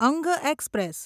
અંગ એક્સપ્રેસ